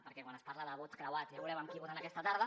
perquè quan es parla de vots creuats ja veurem amb qui voten aquesta tarda